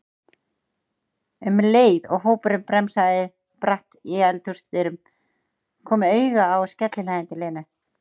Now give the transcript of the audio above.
um leið og hópurinn bremsaði bratt í eldhúsdyrum, kom auga á skellihlæjandi Lenu.